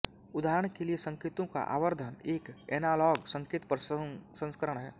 उदाहरण के लिये संकेतों का आवर्धन एक एनॉलॉग संकेत प्रसंस्करण है